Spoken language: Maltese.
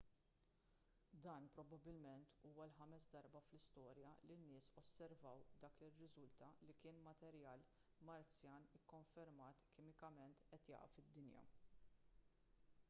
dan probabbilment huwa l-ħames darba fl-istorja li n-nies osservaw dak li rriżulta li kien materjal marzjan ikkonfermat kimikament qed jaqa' fid-dinja